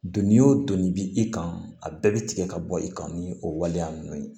Doni o don ni bi i kan a bɛɛ bi tigɛ ka bɔ i kan ni o waleya ninnu ye